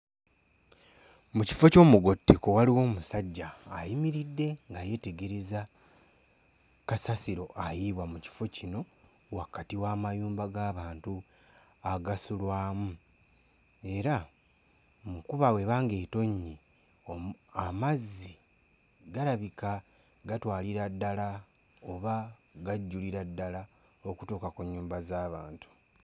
Mu kifo ky'omugotteko waliwo omusajja ayimiridde nga yeetereza kasasiro ayiibwa mu kifo kino wakati w'amayumba g'abantu agasulwamu era mu nkuba bw'eba ng'etonnye omu amazzi galabika gatwalira ddala oba gajjulira ddala okutuuka ku nnyumba z'abantu.